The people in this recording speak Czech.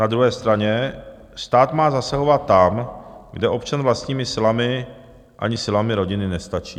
Na druhé straně stát má zasahovat tam, kde občan vlastními silami, ani silami rodiny nestačí.